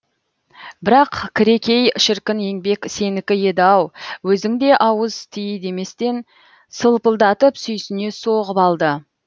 бірақ кірекей шіркін еңбек сенікі еді ау өзің де ауыз ти деместен сылпылдатып сүйсіне соғып алды